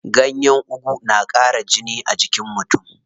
Ganyen ugu na ƙara jini a jikin mutum.